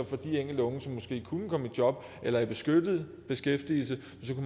for de enkelte unge som måske kunne komme i job eller i beskyttet beskæftigelse